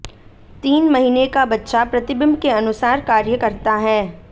तीन महीने का बच्चा प्रतिबिंब के अनुसार कार्य करता है